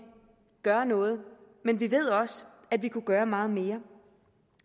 gør noget men vi ved også at vi kunne gøre meget mere